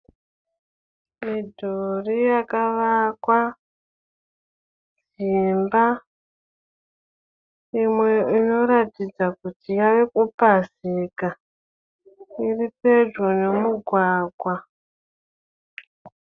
Midhuri yakavakwa imba. Imwe inoratidza kuti yave kupazika. Iri pedyo nomugwagwa.